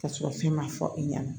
Ka sɔrɔ fɛn ma fɔ i ɲɛna